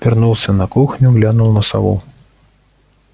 вернулся на кухню глянул на сову